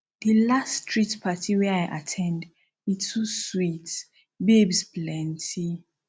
di last street party wey i at ten d e too sweet babes plenty